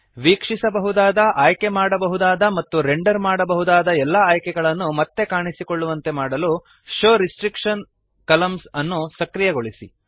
ವೀಕ್ಷಿಸಬಹುದಾದ ಆಯ್ಕೆಮಾಡಬಹುದಾದ ಮತ್ತು ರೆಂಡರ್ ಮಾಡಬಹುದಾದ ಎಲ್ಲ ಆಯ್ಕೆಗಳನ್ನು ಮತ್ತೆ ಕಾಣಿಸಿಕೊಳ್ಳುವಂತೆ ಮಾಡಲು ಶೋವ್ ರೆಸ್ಟ್ರಿಕ್ಷನ್ ಕಾಲಮ್ನ್ಸ್ ಅನ್ನು ಸಕ್ರಿಯಗೊಳಿಸಿ